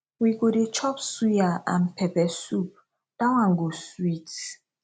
we go dey chop suya and pepper soup dat one go sweet